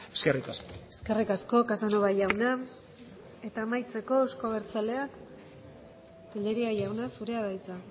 eskerrik asko eskerrik asko casanova jauna eta amaitzeko euzko abertzaleak tellería jauna zurea da hitza